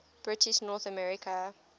british north american